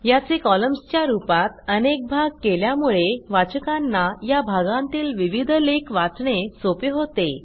याचे कॉलम्सच्या रूपात अनेक भाग केल्यामुळे वाचकांना या भागांतील विविध लेख वाचणे सोपे होते